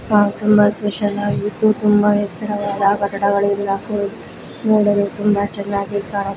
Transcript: ಹಾ ತುಂಬಾ ಸ್ಪೆಷಲ್ ಆಗಿತ್ತು ತುಂಬಾ ಎತ್ತರವಾದ ಕಟ್ಟಡ ನೊಡಲು ತುಂಬ ಚೆನ್ನಾಗಿ ಕಾಣಿ --